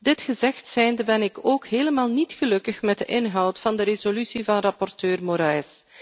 Dit gezegd zijnde ben ik ook helemaal niet gelukkig met de inhoud van de resolutie van rapporteur Moraes.